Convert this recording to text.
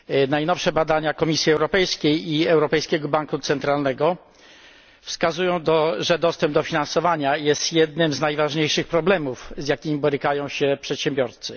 Najnowsze badania Komisji Europejskiej i Europejskiego Banku Centralnego wskazują, że dostęp do finansowania jest jednym z najważniejszych problemów, z jakim borykają się przedsiębiorcy.